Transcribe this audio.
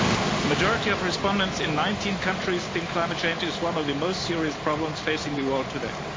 A majority of respondents in 19 countries think climate change is one of the most serious problems facing the world today.